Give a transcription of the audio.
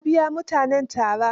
Ya biya mutanen tara.